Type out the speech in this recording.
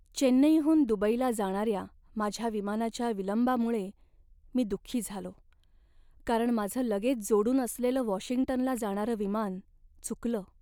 चेन्नईहून दुबईला जाणाऱ्या माझ्या विमानाच्या विलंबामुळे मी दुःखी झालो, कारण माझं लगेच जोडून असलेलं वॉशिंग्टनला जाणारं विमान चुकलं.